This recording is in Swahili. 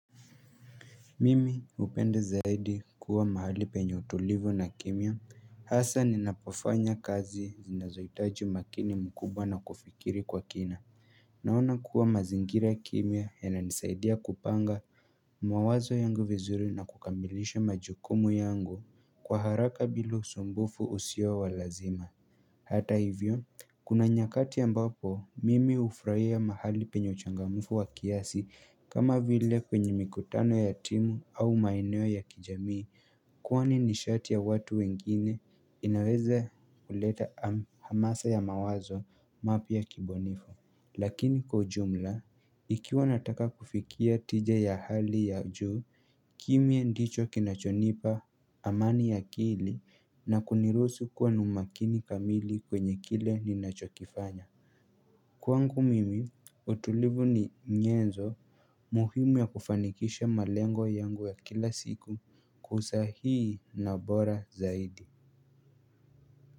Mimi hupenda zaidi kuwa mahali penye utulivu na kimya. Hasa ninapofanya kazi zinazohitaji makini mkubwa na kufikiri kwa kina. Naona kuwa mazingira kimya yananisaidia kupanga mawazo yangu vizuri na kukamilisha majukumu yangu kwa haraka bila usumbufu usio wa lazima. Hata hivyo, kuna nyakati ambapo mimi hufurahia mahali penye uchangamfu wa kiasi kama vile kwenye mikutano ya timu au maeneo ya kijamii Kwani nishati ya watu wengine inaweza kuleta hamasa ya mawazo mapya ya kibunifu Lakini kwa ujumla, ikiwa nataka kufikia tija ya hali ya juu, kimya ndicho kinachonipa amani ya akili na kuniruhusu kuwa na umakini kamili kwenye kile ninachokifanya Kwangu mimi utulivu ni nyenzo muhimu ya kufanikisha malengo yangu ya kila siku kwa usahihi na bora zaidi.